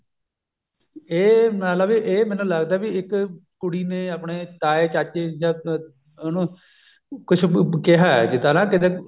ਇਹ ਮਤਲਬ ਵੀ ਇਹ ਮੈਨੂੰ ਲੱਗਦਾ ਵੀ ਇੱਕ ਕੁੜੀ ਨੇ ਆਪਣੇ ਤਾਏ ਚਾਚੇ ਜਾਂ ਉਹਨੂੰ ਕੁਛ ਕਿਹਾ ਕਿਤੇ ਨਾ ਕਿਤੇ